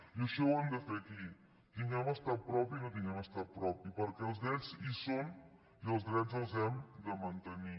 i això ho hem de fer aquí tinguem estat propi o no tinguem estat propi perquè els drets hi són i els drets els hem de mantenir